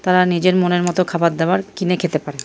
তারা নিজের মনের মতন খাবারদাবার কিনে খেতে পারে ।